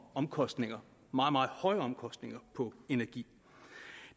omkostninger meget meget høje omkostninger på energi